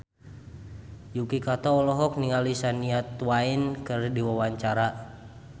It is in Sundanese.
Yuki Kato olohok ningali Shania Twain keur diwawancara